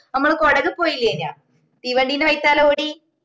മ്മള് കൊടക് പോയില്ലെനാ തീവണ്ടിന്റെ ബൈത്താലേ ഓടി